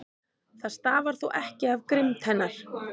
Það stafar þó ekki af grimmd hennar.